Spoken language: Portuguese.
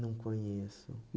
Não conheço.